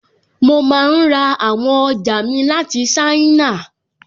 Mo máa n ra àwọn ọjà mi láti ṣáínà